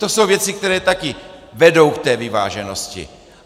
To jsou věci, které taky vedou k té vyváženosti.